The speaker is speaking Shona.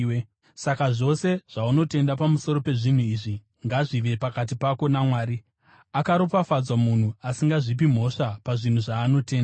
Saka zvose zvaunotenda pamusoro pezvinhu izvi ngazvive pakati pako naMwari. Akaropafadzwa munhu asingazvipi mhosva pazvinhu zvaanotenda.